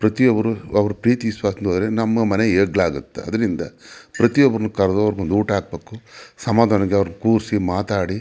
ಪ್ರತಿಯೊಬ್ಬರು ಅವರ ಪ್ರೀತಿ ಸ್ವಂತಂತ್ರ ಇದ್ರೆ ನಮ್ಮ ಮನೆ ಏಳಿಗೆ ಆಗುತ್ತೆ ಆದುದರಿಂದ ಪ್ರತಿಯೊಬ್ಬರು ಕರಧವರನ್ನ ಊಟ ಹಾಕಬೇಕು ಸಮಾಧಾನದಿಂದ ಕೂಡ್ಸಿ ಮಾತಾಡಿ --